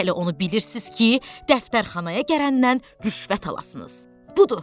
Hələ onu bilirsiz ki, dəftərxanaya gələndən rüşvət alasınız.